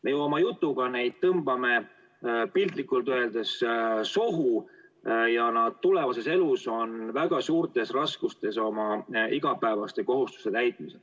Me ju oma jutuga tõmbame neid piltlikult öeldes sohu ja nad tulevases elus on väga suurtes raskustes oma igapäevaste kohustuste täitmisel.